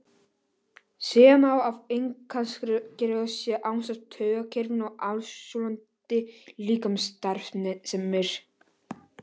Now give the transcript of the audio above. Segja má að innkirtlakerfið sé ásamt taugakerfinu aðalstjórnandi líkamsstarfseminnar.